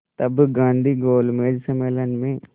तब गांधी गोलमेज सम्मेलन में